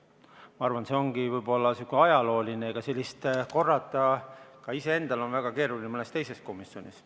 Ma arvan, et see ongi võib-olla selline ajalooline situatsioon, mida korrata on ka iseendal väga keeruline isegi mõnes teises komisjonis.